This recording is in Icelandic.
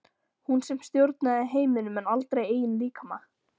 Hún sem stjórnaði heiminum en aldrei eigin líkama.